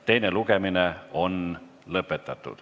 Teine lugemine on lõpetatud.